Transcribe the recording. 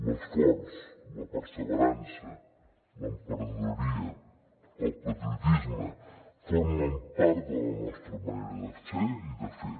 l’esforç la perseverança l’emprenedoria i el patriotisme formen part de la nostra manera de ser i de fer